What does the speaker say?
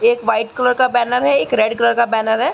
एक white colour का banner है। एक रेड कलर का बेनर है।